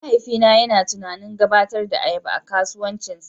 Mahaifina yana tunanin gabatar da ayaba a kasuwancinsa.